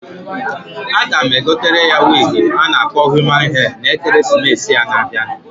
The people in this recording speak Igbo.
A ga m egotere ya wig a na-akpọ human hair, na Ekeresimesịa na-abianu.